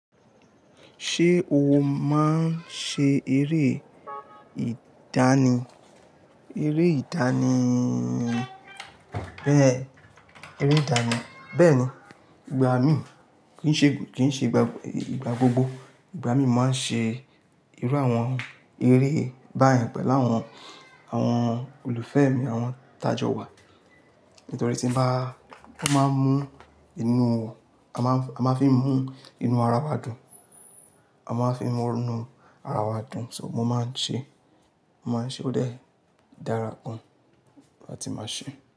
Ṣé o máa ń ṣe eré ìdánì? Eré ìdánì, bẹ́ẹ̀ni, ìgbà mí, kì í ṣe ìgbà gbogbo. Ìgbà mí máa ń ṣe irú àwọn eré bá yen pẹ̀lú àwọn, àwọn ólùfẹ́ mi, àwọn tajọ wa. Nítorí tí ń bá, wọ́n máa ń mú inú, a máa ń fi mú inú ara wa dùn. A máa ń fi mú inú ara wa dùn. So mo máa ń ṣe, mo máa ń ṣe ó dàra gan láti máa ṣe.